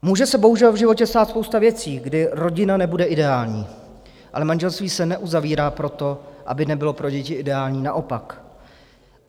Může se bohužel v životě stát spousta věcí, kdy rodina nebude ideální, ale manželství se neuzavírá proto, aby nebylo pro děti ideální, naopak.